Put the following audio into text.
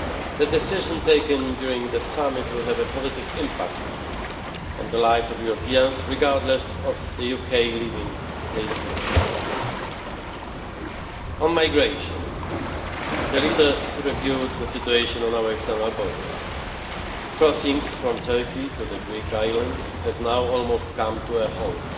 The decision taken during the summit will have a positive impact on the lives of Europeans, regardless of the UK's leaving the EU. On migration, the leaders reviewed the situation on our external borders. Crossings from Turkey to the Greek islands have now almost come to a halt.